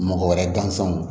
Mɔgɔ wɛrɛ gansanw